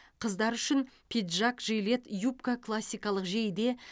қыздар үшін пиджак жилет юбка классикалық жейде